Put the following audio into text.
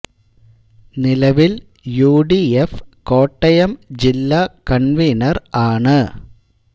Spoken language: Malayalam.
നിലവിൽ യു ഡി എഫ് കോട്ടയം ജില്ലാ കൺവീനർ ആണ്